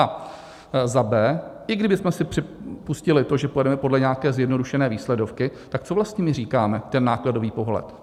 A za b, i kdybychom si připustili to, že pojedeme podle nějaké zjednodušené výsledovky, tak co vlastně my říkáme, ten nákladový pohled?